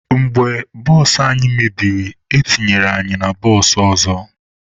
Mgbe bụsụ anyị mebiri, etinyere anyị na bụsụụ ọzọ.